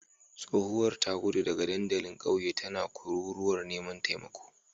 Tsohuwar ta gudu daga dandalin kauye tana kururuwar neman taimako